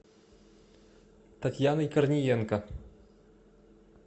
татьяной корниенко